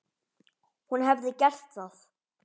Hún hefði gert það.